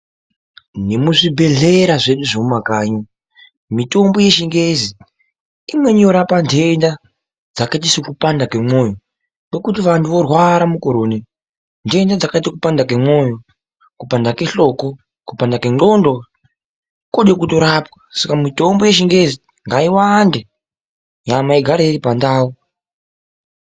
Nemuzvibhedhlera zvedu zvemumakanyi mitombo yechingezi imweni yorapa nhenda dzakaite sekupanda kwomwoyo. Nokuti vantu vorwara mukore uno nhenda dzakaite kupanda kwemwoyo, kupanda kwehloko, kupanda kwendxondo kode kutorapwa. Saka mitombo yechingezi ngaiwande nyama ingare iri pandau.